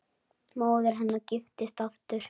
Móðir hennar giftist aftur.